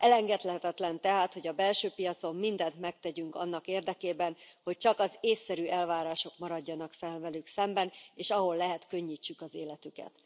Elengedhetetlen tehát, hogy a belső piacon mindent megtegyünk annak érdekében, hogy csak az észszerű elvárások maradjanak fenn velük szemben, és ahol lehet, könnyítsük az életüket.